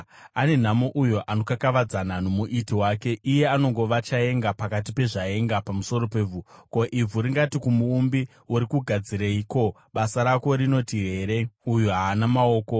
“Ane nhamo uyo anokakavadzana noMuiti wake, iye anongova chaenga pakati pezvaenga pamusoro pevhu. Ko, ivhu ringati kumuumbi, ‘Uri kugadzirei?’ Ko, basa rako rinoti here, ‘Uyu haana maoko?’